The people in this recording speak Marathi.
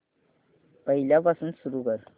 पहिल्यापासून सुरू कर